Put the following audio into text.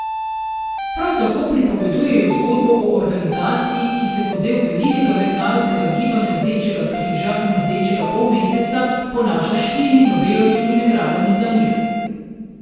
Prav tako pripovedujejo zgodbo o organizaciji, ki se kot del velikega Mednarodnega gibanja Rdečega križa in Rdečega polmeseca ponaša s štirimi Nobelovimi nagradami za mir.